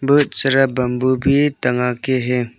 बहुत सारा बंबू भी टँगा के हैं।